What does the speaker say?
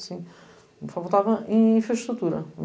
O povo estava em infraestrutura.